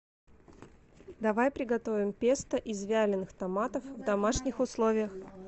давай приготовим песто из вяленых томатов в домашних условиях